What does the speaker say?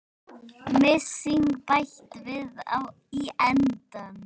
Mysingi bætt við í endann.